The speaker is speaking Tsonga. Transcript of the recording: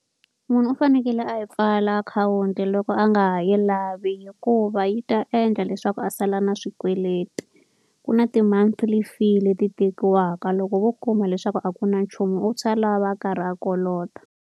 Munhu u fanekele a yi pfala akhawunti loko a nga ha yi lavi hikuva yi ta endla leswaku a sala na swikweleti. Ku na ti-monthly fee leti tekiwaka, loko vo kuma leswaku a ku na nchumu a va a karhi a kolota.